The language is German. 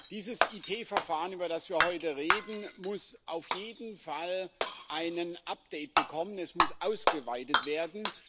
Dieses IT-Verfahren, über das wir heute reden, muss auf jeden Fall ein Update bekommen es muss ausgeweitet werden.